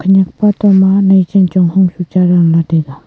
eya photo ma nai chenchong hung su cha dan la taega.